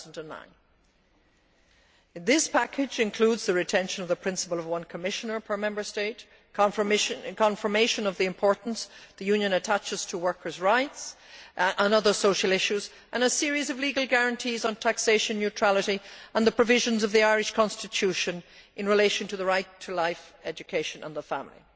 2009. This package includes the retention of the principle of one Commissioner per Member State, confirmation of the importance the Union attaches to workers' rights and other social issues, and a series of legal guarantees on taxation neutrality and the provisions of the Irish constitution in relation to the right to life, education and the family.